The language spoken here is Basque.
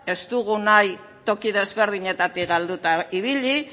ez dugu nahi toki desberdinetatik galduta ibili